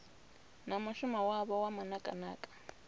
na mushumo wavho wa manakanaka